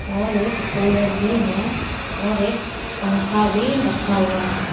और एक कूलर भी है और एक पंखा भी रखा हुआ है।